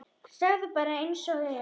Segðu bara einsog er.